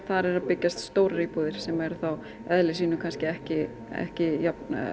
þar eru að byggjast stórar íbúðir sem eru þá í eðli sínu ekki ekki jafn